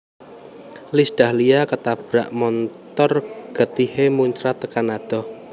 Iis Dahlia ketabrak montor getihe muncrat tekan adoh